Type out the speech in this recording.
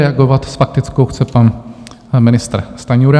Reagovat s faktickou chce pan ministr Stanjura.